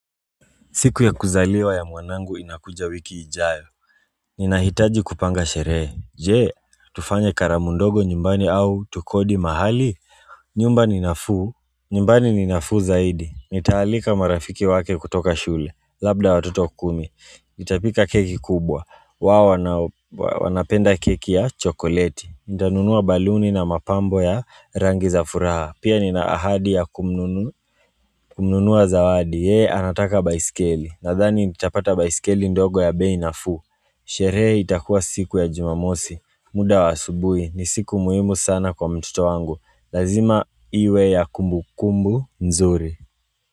Siku ya kuzaliwa ya mwanangu inakuja wiki ijayo Ninahitaji kupanga sherehe Je tufanye karamu ndogo nyumbani au tukodi mahali nyumba ni nafuu nyumbani ni nafuu zaidi Nitaalika marafiki wake kutoka shule Labda watoto kumi Nitapika keki kubwa wao wanapenda keki ya chokoleti Nitanunua baluni na mapambo ya rangi za furaha Pia nina ahadi ya kumnunu kununua zawadi yeye anataka baiskeli Nadhani nitapata baiskeli ndogo ya bei nafuu Sherehe itakuwa siku ya jumamosi muda wa asubuhi ni siku muhimu sana kwa mtoto wangu Lazima iwe ya kumbukumbu nzuri.